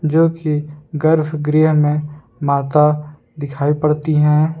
जोकि गर्भ गृह में माता दिखाई पड़ती हैं।